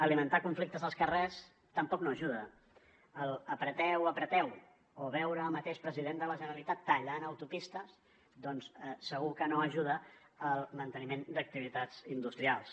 alimentar conflictes als carrers tampoc no hi ajuda l’ apreteu apreteu o veure el mateix president de la generalitat tallant autopistes doncs segur que no ajuda al manteniment d’activitats industrials